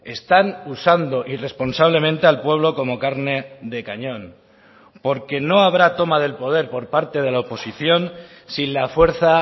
están usando irresponsablemente al pueblo como carne de cañón porque no habrá toma del poder por parte de la oposición sin la fuerza